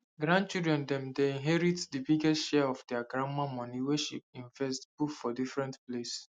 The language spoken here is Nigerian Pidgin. grand children dem dey inherit the biggest share of their grandma money wey she invest put for different place